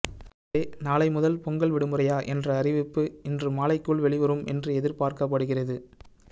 எனவே நாளை முதல் பொங்கல் விடுமுறையா என்ற அறிவிப்பு இன்று மாலைக்குள் வெளிவரும் என்று எதிர்பார்க்கப்படுகிறது